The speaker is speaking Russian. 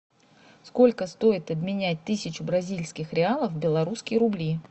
сколько стоит обменять тысячу бразильских реалов в белорусские рубли